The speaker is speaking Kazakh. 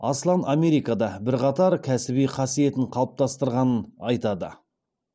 аслан америкада бірқатар кәсіби қасиетін қалыптастырғанын айтады